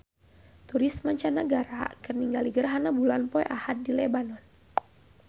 Turis mancanagara keur ningali gerhana bulan poe Ahad di Lebanon